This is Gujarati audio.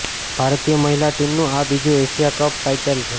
ભારતીય મહિલા ટીમનું આ બીજું એશિયા કપ ટાઇટલ છે